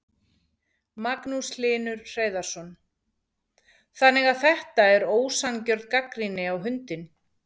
Magnús Hlynur Hreiðarsson: Þannig að þetta er ósanngjörn gagnrýni á hundinn?